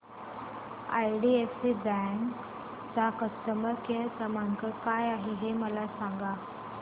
IDFC bank चा customer care क्रमांक काय आहे हे मला सांगा